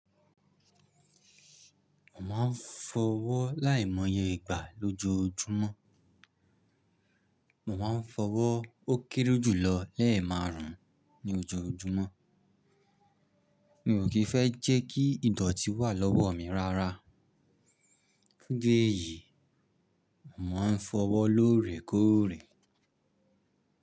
Mo máa ń fọwọ́ láìmọye ìgbà lójoójúmọ́. Mo máa ń fọwọ́ ó kéré jùlọ lẹ́ẹ̀ márùn-ún ní ojoojúmọ́. Mi ò kì í fẹ́ jẹ́ kí ìdọ̀tí wà lọ́wọ́ mi rárá. Géèyì, mo máa ń fọwọ́ lóòrèkóòrè.